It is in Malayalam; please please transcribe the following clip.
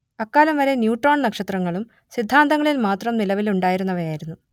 അക്കാലം വരെ ന്യൂട്രോൺ നക്ഷത്രങ്ങളും സിദ്ധാന്തങ്ങളിൽ മാത്രം നിലവിലുണ്ടായിരുന്നവയായിരുന്നു